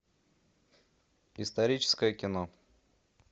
историческое кино